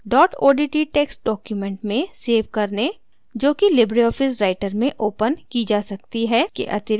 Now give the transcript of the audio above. dot odt text documents में save करने जो कि लिबरे ऑफिस writer में opened की जा सकती है के अतिऱिक्त